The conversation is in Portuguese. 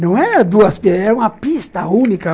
Não era duas pistas, era uma pista única.